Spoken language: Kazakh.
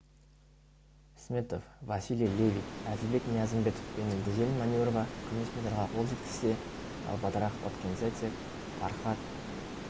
сметов василий левит әділбек ниязымбетов пен гүзел манюрова күміс медальға қол жеткізсе галбадрах отгонцэцэг фархад